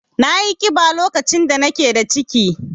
Nayi ƙiba lokacin da nake da ciki.